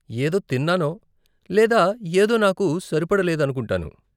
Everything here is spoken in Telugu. ఏదో తిన్నానో లేదా ఏదో నాకు సరిపడలేదనుకుంటాను .